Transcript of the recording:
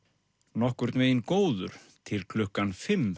nokkurn veginn góður til klukkan fimm